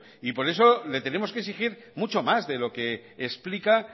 y por eso le tenemos que exigir mucho más de lo que explica